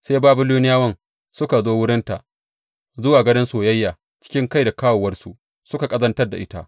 Sai Babiloniyawan suka zo wurinta, zuwa gadon soyayya, cikin kai da kawowarsu suka ƙazantar da ita.